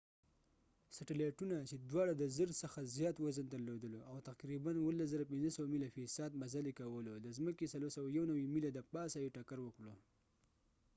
سیټیلایټونو چې دواړو د 1000 څخه زیات وزن درلودلو او تقریباً17,500 میله فی ساعت مزل یې کولو د ځمکې 491 میله دپاسه یې ټکر وکړو